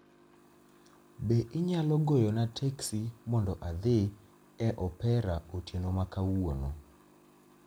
Be inyalo goyona teksi mondo adhi e opera otieno ma kawuono